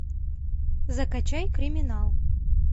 закачай криминал